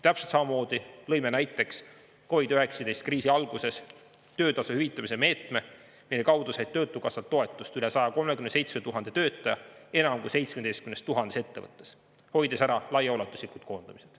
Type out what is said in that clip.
Täpselt samamoodi lõime näiteks COVID-19 kriisi alguses töötasu hüvitamise meetme, mille kaudu sai töötukassalt toetust üle 137 000 töötaja enam kui 17 000 ettevõttes, see hoidis ära laiaulatuslikud koondamised.